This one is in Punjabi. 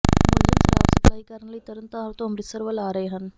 ਮੁਲਜ਼ਮ ਸ਼ਰਾਬ ਸਪਲਾਈ ਕਰਨ ਲਈ ਤਰਨ ਤਾਰਨ ਤੋਂ ਅੰਮਿ੍ਤਸਰ ਵੱਲ ਆ ਰਹੇ ਹਨ